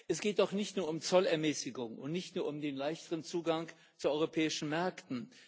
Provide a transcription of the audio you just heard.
Es geht doch nicht nur um Zollermäßigungen und nicht nur um den leichteren Zugang zu den europäischen Märkten.